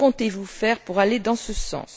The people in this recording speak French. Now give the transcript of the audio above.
Que comptez vous faire pour aller dans ce sens?